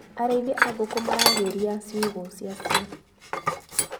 Arĩithia a ngũkũ maragĩria cĩugũ ciacio.